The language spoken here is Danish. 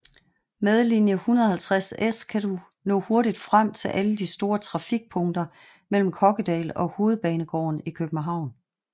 Med linie 150S kan du nå hurtigt frem til alle de store trafikpunkter mellem Kokkedal og Hovedbanegården i København